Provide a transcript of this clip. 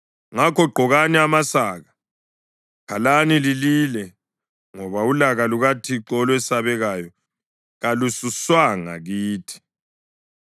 Ngakho gqokani amasaka, khalani lilile, ngoba ulaka lukaThixo olwesabekayo kalususwanga kithi.